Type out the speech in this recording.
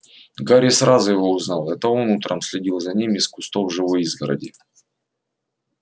гарри сразу его узнал это он утром следил за ним из кустов живой изгороди